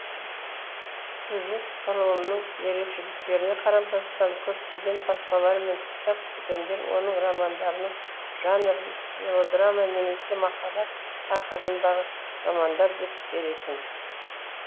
сюжет құрылымының ерекшеліктеріне қарамастан көптеген баспалар мен кітап дүкендері оның романдарының жанрын мелодрама немесе махаббат тақырыбындағы романдар деп беретін